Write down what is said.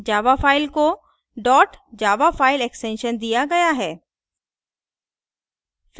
java file को dot java file extension दिया गया है